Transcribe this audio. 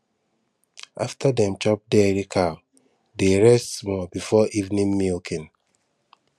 after dem chop dairy cow dey rest small before evening milking